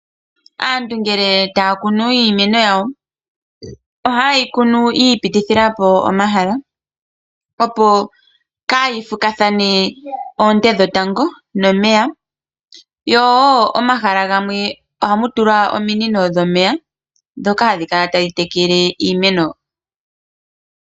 Aantu ngele taya kunu iimeno yawo oha yeyi kunu yi ipitithila po omahala opo kayi fukathane oonte dhetango nomeya. Yo wo omahala gamwe oha mu tulwa omiinino dhomeya dhoka hadhi kala tadhi tekele iimeno.